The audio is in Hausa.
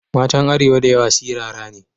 Matan arewa da yawa sirara ne.